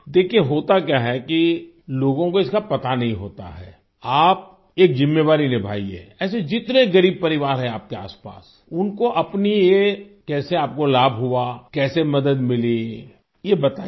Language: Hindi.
देखिये होता क्या है कि लोगों को इसका पता नहीं होता है आप एक जिम्मेवारी निभायिये ऐसे जितने गरीब परिवार है आपके आसपास उनको अपनी ये कैसे आपको लाभ हुआ कैसे मदद मिली ये बताइए